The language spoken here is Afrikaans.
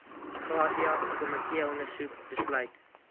gratia komiteeondersoek besluit